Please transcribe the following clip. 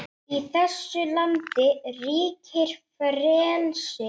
Í þessu landi ríkir frelsi!